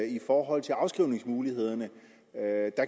i forhold til afskrivningsmulighederne